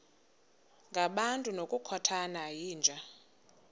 ngabantu ngokukhothana yinja